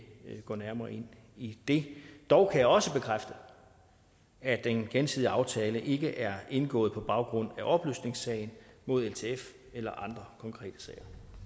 gå nærmere ind i det dog kan jeg også bekræfte at den gensidige aftale ikke er indgået på baggrund af opløsningssagen mod ltf eller andre konkrete